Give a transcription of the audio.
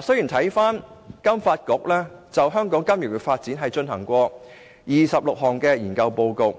雖然金發局就香港金融業發展而發表的26份研究報告